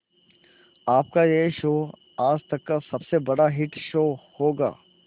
आपका यह शो आज तक का सबसे बड़ा हिट शो होगा